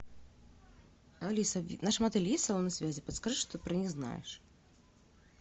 алиса в нашем отеле есть салоны связи подскажи что ты про них знаешь